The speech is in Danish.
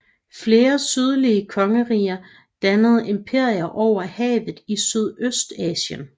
Flere sydlige kongeriger dannede imperier over havet i Sydøstasien